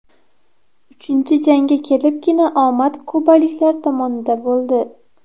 Uchinchi jangga kelibgina omad kubaliklar tomonida bo‘ldi.